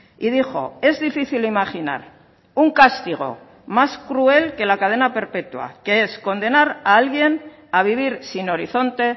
y dijo es difícil imaginar un castigo más cruel que la cadena perpetua que es condenar a alguien a vivir sin horizonte